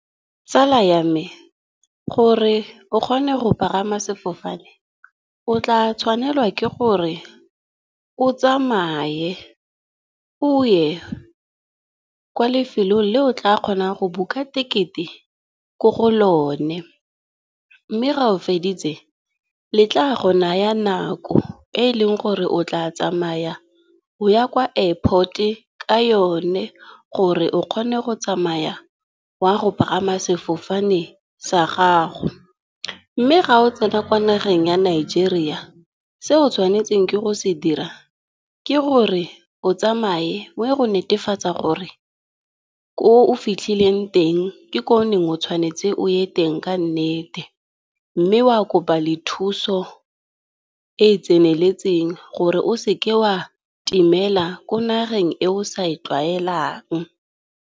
Tsala ya me gore o kgone go pagama sefofane, o tla tshwanelwa ke gore o tsamaye o ye kwa lefelong le o tla kgonang go buka tekete ko go lone, mme ga o feditse le tla go naya nako e e leng gore o tla tsamaya o ya kwa Airport-e ka yone gore o kgone go tsamaya wa go pagama sefofane sa gago. Mme ga o tsena kwa nageng ya Nigeria, se o tshwanetseng ke go se dira ke gore o tsamaye oye go netefatsa gore ko o fitlhileng teng, ke ko o neng o tshwanetse oye teng ka nnete. Mme wa kopa le thuso e e tseneletseng gore o seke wa timela ko nageng e o sa e tlwaelang.